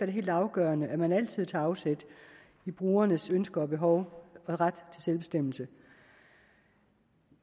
det helt afgørende at man altid tager afsæt i brugernes ønsker og behov og ret til selvbestemmelse